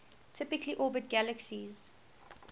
typically orbit galaxies